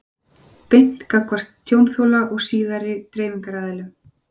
beint gagnvart tjónþola og síðari dreifingaraðilum?